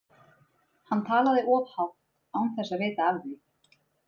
Hann talaði of hátt, án þess að vita af því.